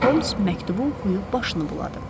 Ancaq Holms məktubu oxuyub başını buladı.